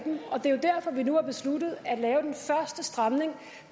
derfor vi nu har besluttet at lave den første stramning